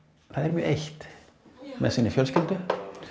mjög eitt með sinni fjölskyldu